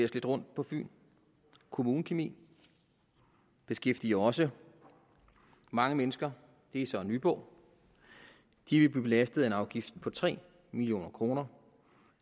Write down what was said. lidt rundt på fyn kommunekemi beskæftiger også mange mennesker det er så i nyborg de vil blive belastet af en afgift på tre million kroner